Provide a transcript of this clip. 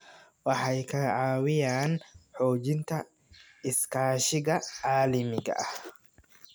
Waxay ka caawiyaan xoojinta iskaashiga caalamiga ah.